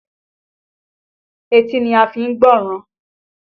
Etí ni a fi ń gbọ́ràn